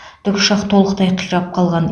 тікұшақ толықтай қирап қалған